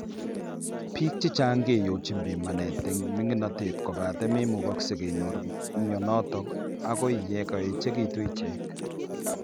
Biik chechang keyochin pimanet eng' ming'inotet kobate memukakse kenyor mionitok akoi yekaechekitu ichek